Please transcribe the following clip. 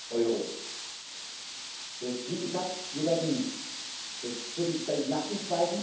Euro. Wie gesagt, wir werden für die Zeit nach dem